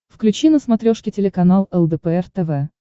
включи на смотрешке телеканал лдпр тв